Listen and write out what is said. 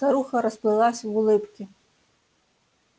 старуха расплылась в улыбке